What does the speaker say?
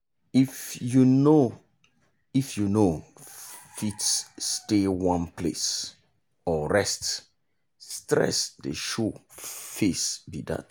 if you no if you no fit stay one place or rest stress dey show face be that.